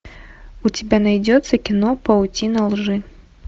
у тебя найдется кино паутина лжи